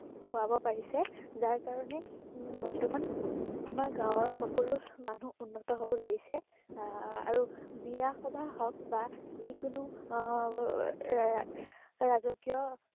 খুৱাব পাৰিছে, যাৰ কাৰণে উম বৰ্তমান আমাৰ গাঁৱৰ সকলো মানুহ উন্নত হ'ব ধৰিছে। আহ আৰু বিয়া সবাহ হওক বা যিকোনো এৰ ৰাজকীয়